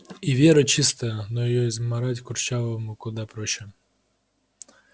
и вера чистая но её измарать курчавому куда проще